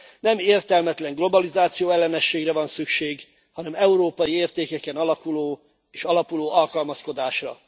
Nem értelmetlen globalizációellenességre van szükség, hanem európai értékeken alakuló és alapuló alkalmazkodásra.